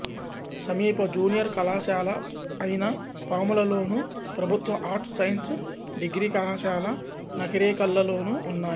సమీప జూనియర్ కళాశాల అయినపాములలోను ప్రభుత్వ ఆర్ట్స్ సైన్స్ డిగ్రీ కళాశాల నకిరేకల్లోనూ ఉన్నాయి